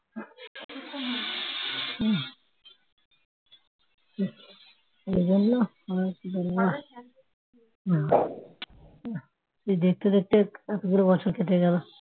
দেখতে দেখতে এতগুলো বছর কেটে গেল